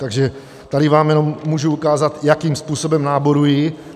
Takže tady vám jenom můžu ukázat, jakým způsobem náborují.